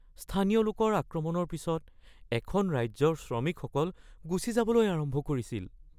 স্থানীয় লোকৰ দ্বাৰা আক্ৰমণৰ পিছত এখন ৰাজ্যৰ শ্ৰমিকসকল গুচি যাবলৈ আৰম্ভ কৰিছিল।